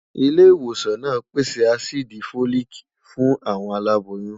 ilé ìwòsàn nà pèsè àsídí folic fún aláboyún